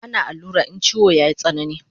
Ana allura in chiwo yayi tsanani